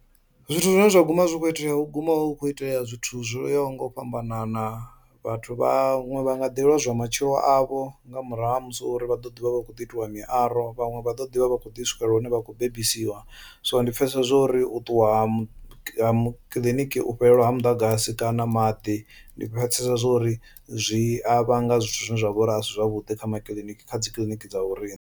Zwithu zwine zwa guma zwi kho itea hu guma hu kho itea zwithu zwo yaho nga u fhambanana vhathu vhaṅwe vha nga ḓi lwozwa matshilo avho nga murahu ha musi hu uri vha ḓo ḓivha vha kho ḓi itiwa miaro, vhanwe vha ḓo ḓi vha vha kho ḓi swikelela hune vha kho bebiwa so ndi pfhesesa zwa uri u ṱuwa ha mu ha mu kiḽiniki u fhelelwa ha muḓagasi kana maḓi. Ndi pfhesesa zwa uri zwi a vhanga zwithu zwine zwa vhori asi zwavhuḓi kha makiḽiniki kha dzi kiḽiniki dza vho riṋe.